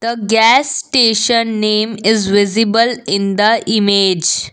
a gas station name is visible in the image.